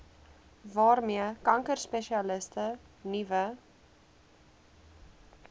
waarmee kankerspesialiste nuwe